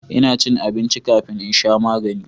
ina cin abinci kafin in sha magani